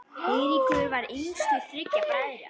Eiríkur var yngstur þriggja bræðra.